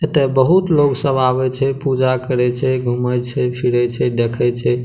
एते बहुत लोग सब आवे छे पूजा करे छे घूमे छे फिरे छे देखे छे।